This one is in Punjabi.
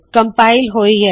ਕਮਪਾਇਲ ਹੋਈ ਹੈ